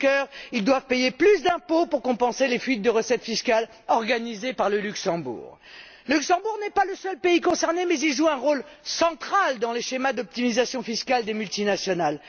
Juncker, ils doivent payer plus d'impôts pour compenser les fuites de recettes fiscales organisées par le Luxembourg, qui n'est pas le seul pays concerné mais joue un rôle central dans les schémas d'optimisation fiscale des multinationales.